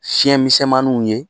Siyɛn misɛnmaniw ye